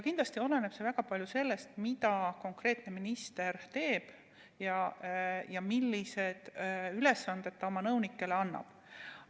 Kindlasti oleneb see väga palju sellest, mida konkreetne minister teeb ja milliseid ülesandeid ta oma nõunikele annab.